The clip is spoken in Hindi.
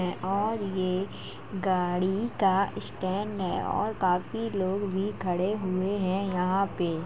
और ये गाड़ी का स्टैंड है और काफ़ी लोग भी खड़े हुऐ है यहाँ पे।